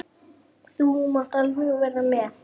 Þú mátt alveg vera með.